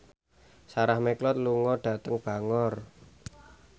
Sarah McLeod lunga dhateng Bangor